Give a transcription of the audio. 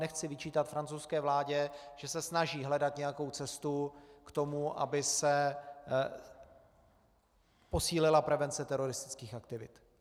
Nechci vyčítat francouzské vládě, že se snaží hledat nějakou cestu k tomu, aby se posílila prevence teroristických aktivit.